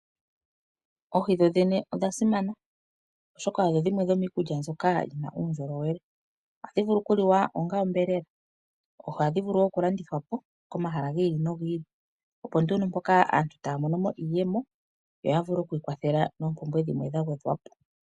Oohi dhodhene odha simana, oshoka odho dhimwe dhoomikulya mbyoka yina uundjolowele. Oha dhivulu oku liwa ongaa onyama, oha dhivulu wo okulandithwa komahala giili nogiili, opo nduno mpoka aantu taamono iiyemo, yo yavule okwiikwathela noompumbwe dhimwe dha gwedhwapo.